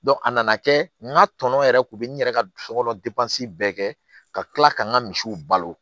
a nana kɛ n ka tɔnɔ yɛrɛ kun bɛ n yɛrɛ ka dusu kɔnɔ bɛɛ kɛ ka tila ka n ka misiw balo